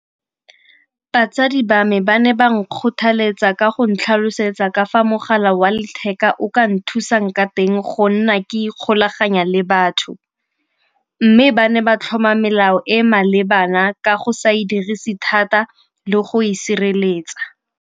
Batsadi ba me ba ne ba na kgothaletsa ka go ntlha tlhalosetsa ka fa mogala wa letheka o ka nthusang ka teng go nna ke ikgolaganya le batho. Mme ba ne ba tlhoma melao e e malebana ka go sa e dirise thata le go e sireletsa.